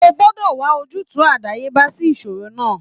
O gbọ́dọ̀ wà ojútùú àdáyébá sí ìṣòro náà